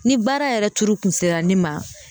Ni baara yɛrɛ tuuru kun sera ne ma